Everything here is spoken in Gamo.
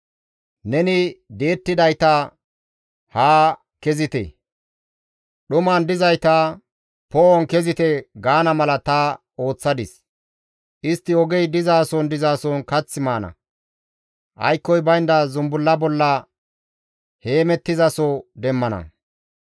Neni di7ettidayta, ‹Haa kezite!› dhuman dizayta, ‹Poo7on kezite› gaana mala ta ooththadis. Istti ogey dizason dizason kath maana; aykkoy baynda zumbulla bolla heemettizaso demmana.